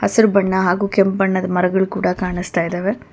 ಹಸಿರು ಬಣ್ಣ ಹಾಗೂ ಕೆಂಪ್ ಬಣ್ಣದ ಮರಗಳು ಕೂಡ ಕಾಣಿಸ್ತಾಯಿದಾವೆ.